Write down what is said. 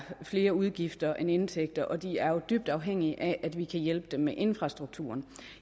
flere udgifter end indtægter og at de er dybt afhængige af at vi kan hjælpe dem med infrastrukturen